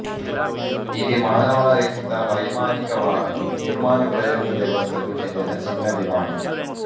ఇది మానవరహిత వైమానిక వాహనం నిర్మాణ ప్రయోగ వ్యవస్థకు చెందిన చిన్న విమానం